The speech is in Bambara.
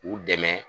U dɛmɛ